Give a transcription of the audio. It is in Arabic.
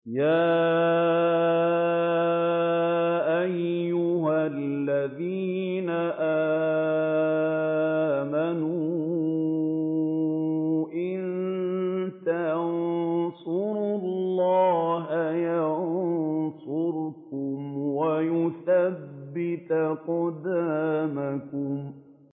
يَا أَيُّهَا الَّذِينَ آمَنُوا إِن تَنصُرُوا اللَّهَ يَنصُرْكُمْ وَيُثَبِّتْ أَقْدَامَكُمْ